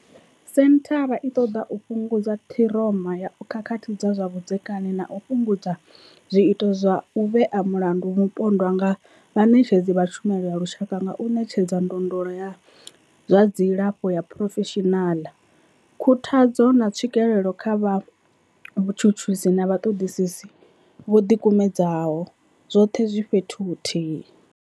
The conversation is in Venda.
Senthara i ṱoḓa u fhungudza ṱhiroma ya khakhathi dza zwa vhudzekani na u fhungudza zwiito zwa u vhea mulandu mupondwa nga vhaṋetshedzi vha tshumelo ya lushaka nga u ṋetshedza ndondolo ya zwa dzilafho ya phurofeshinala, khuthadzo, na tswikelo kha vhatshutshisi na vhaṱoḓisi vho ḓikumedzaho, zwoṱhe zwi fhethu huthihi.